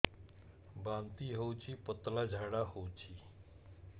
ବାନ୍ତି ହଉଚି ପତଳା ଝାଡା ହଉଚି